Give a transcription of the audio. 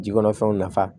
Ji kɔnɔfɛnw nafa